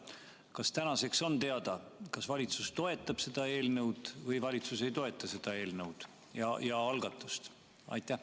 Kas tänaseks on teada, kas valitsus toetab seda eelnõu või valitsus ei toeta seda eelnõu ja algatust?